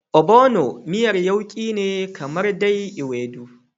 Ogbono miyan yauki ne kamar dai Ewedu.